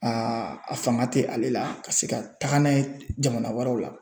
A a fanga tɛ ale la ka se ka taga n'a ye jamana wɛrɛw la